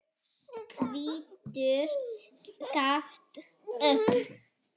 Hvítur gafst upp.